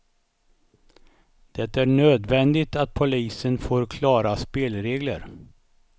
Det är nödvändigt att polisen får klara spelregler.